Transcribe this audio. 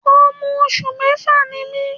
Ọmọ oṣù kẹfà ni mí.